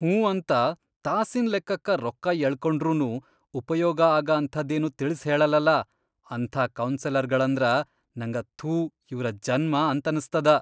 ಹ್ಞೂ ಅಂತ ತಾಸಿನ್ ಲೆಕ್ಕಕ್ಕ ರೊಕ್ಕಾ ಯಳ್ಕೊಂಡ್ರುನೂ ಉಪಯೋಗ ಆಗ ಅಂಥಾದೇನೂ ತಿಳಿಸ್ಹೇಳಲ್ಲಲಾ ಅಂಥಾ ಕೌನ್ಸೆಲರ್ಗಳಂದ್ರ ನಂಗ ಥೂ ಇವ್ರ ಜನ್ಮ ಅಂತನಸ್ತದ.